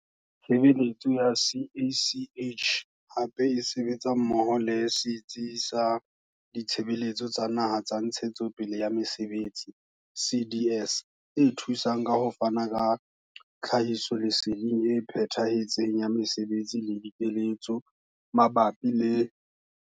Tshebeletso ya CACH hape e sebetsa mmoho le setsi sa Ditshebeletso tsa Naha tsa Ntshetsepele ya Mesebetsi CDS e thusang ka ho fana ka tlhahisoleseding e phethahetseng ya mesebetsi le dikeletso mabapi le.